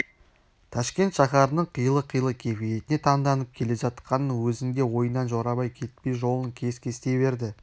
ташкент шаһарының қилы-қилы кепиетіне таңданып келе жатқанның өзінде ойынан жорабай кетпей жолын кес-кестей берді